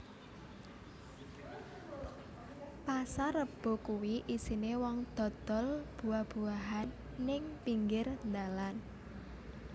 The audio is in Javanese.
Pasar Rebo kui isine wong dodol buah buahan ning pinggir ndalan